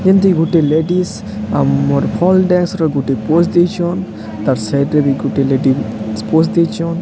ଯେମତି ଗୋଟେ ଲେଡିସ୍ ଆମର ଫଲ୍ ଡ୍ୟାନ୍ସ୍ ର ଗୋଟେ ପୋଜ୍ ଦେଇଚନ୍ ତାର୍ ସାଇଡ୍ ରେ ବି ଗୋଟେ ଲେଡି ସ୍ପୋଜ୍ ଦେଇଚନ୍।